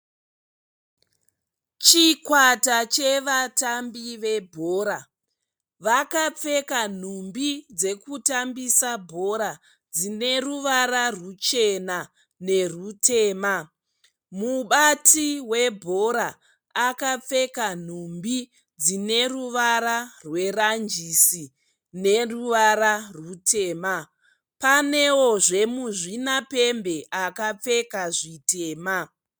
Chikwata chevatambi vebhora vakapfeka nhumbi dzekutambisa bhora dzineruvara ruchena nerutema, mubati webhora akapfeka nhumbi dzineruvara rweranjisi neruvara rutema. Panewozve muzvinapembe akapfeka zvitema.